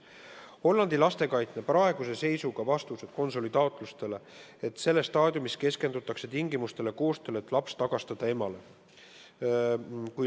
Hollandi lastekaitse vastused konsuli taotlustele on praeguse seisuga sellised, et selles staadiumis keskendutakse tingimustele ja koostööle, et laps tagastada emale.